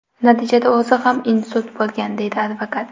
Natijada o‘zi ham insult bo‘lgan”, deydi advokat.